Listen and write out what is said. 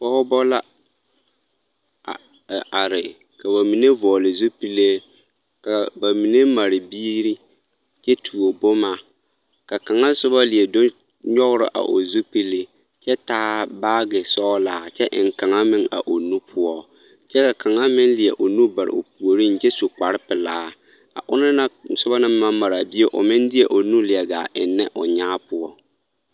Pɔgbɔ la a are ka ba mine vɔgli zupile ka ba mine mare biiri kyɛ tuo boma ka kaŋa soba leɛ do nyɔgrɔ a o zupili kyɛ taa baage sɔglaa a kyɛ eŋ kaŋa meŋ o nu poɔ kyɛ ka kaŋa meŋ leɛ o nu bare o puoreŋ kyɛ su kparrepelaa a onoŋ na soba naŋ ba maraa bie meŋ deɛ o nu leɛ gaa eŋnɛ o nyaa poɔ.